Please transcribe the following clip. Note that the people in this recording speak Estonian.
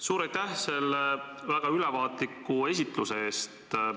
Suur aitäh selle väga ülevaatliku esitluse eest!